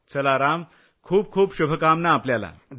चला राम खूप खूप शुभकामना आपल्याला